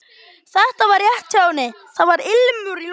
Þetta var rétt hjá henni, það var ilmur í loftinu.